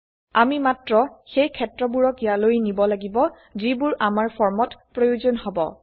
আমি মাত্ৰ সেই ক্ষেত্ৰবোৰক ইয়ালৈ নিব লাগিব যিবোৰ আমাৰ ফৰ্ম ত প্ৰয়োজন হব